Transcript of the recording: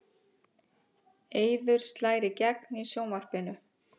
Eiður slær í gegn í sjónvarpinu